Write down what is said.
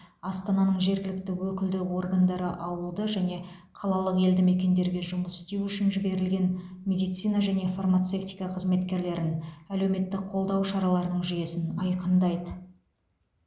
астананың жергілікті өкілді органдары ауылды және қалалық елдімекендерге жұмыс істеу үшін жіберілген медицина және фармацевтика қызметкерлерін әлеуметтік қолдау шараларының жүйесін айқындайды